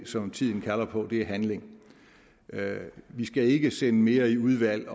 som tiden kalder på er handling vi skal ikke sende mere i udvalg